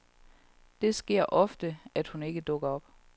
Det sker ofte at hun ikke dukker op.